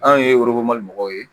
Anw ye mɔgɔw ye